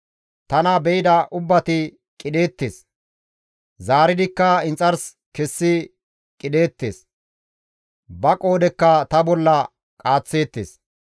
Tana be7ida ubbati qidheettes; zaaridikka inxars kessi qidheettes; ba qoodhekka ta bolla qaaththeettes.